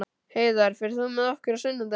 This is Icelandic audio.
Heiðar, ferð þú með okkur á sunnudaginn?